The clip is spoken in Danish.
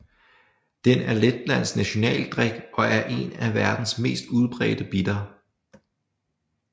Den er Letlands nationaldrik og er en af verdens mest udbredte bitter